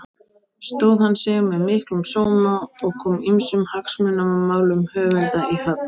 Stóð hann sig með miklum sóma og kom ýmsum hagsmunamálum höfunda í höfn.